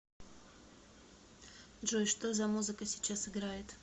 джой что за музыка сейчас играет